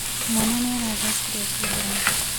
Mwana nĩ arathecirwo cindano.